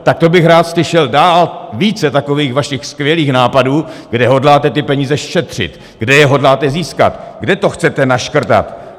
Tak to bych rád slyšel dál více takových vašich skvělých nápadů, kde hodláte ty peníze šetřit, kde je hodláte získat, kde to chcete naškrtat.